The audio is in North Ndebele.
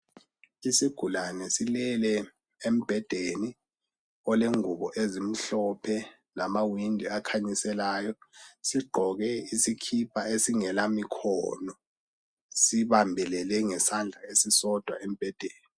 Isigulane silele embhedeni olengubo ezimhlophe, lamawindi akhanyiselayo. Sigqoke isikipa esingelamikhono, sibambelele ngesandla esisodwa embhedeni.